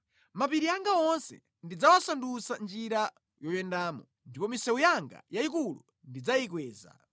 Mapiri anga onse ndidzawasandutsa njira yoyendamo, ndipo misewu yanga yayikulu ndidzayikweza.